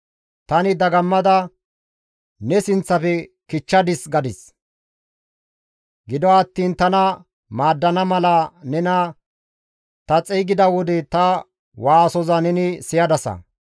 Tani dagammada, «Ne sinththafe kichchadis» gadis. Gido attiin tana maaddana mala nena ta xeygida wode ta waasoza neni siyadasa.